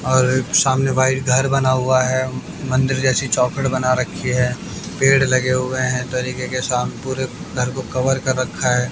और सामने व्हाइट घर बना हुआ है मंदिर जैसी चौकट बना रखी है पेड़ लगे हुए हैं तरीके के सा पूरे घर को कवर कर रखा है।